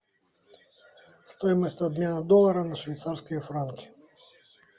стоимость обмена доллара на швейцарские франки